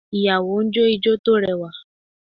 Ìyàwó ń jó ijo tó rẹwà